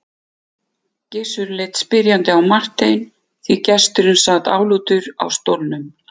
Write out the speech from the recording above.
Gizur leit spyrjandi á Martein því gesturinn sat niðurlútur á stólnum.